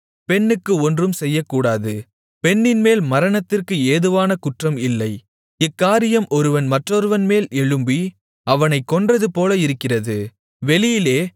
பெண்ணுக்கு ஒன்றும் செய்யக்கூடாது பெண்ணின்மேல் மரணத்திற்கு ஏதுவான குற்றம் இல்லை இக்காரியம் ஒருவன் மற்றொருவன்மேல் எழும்பி அவனைக் கொன்றதுபோல இருக்கிறது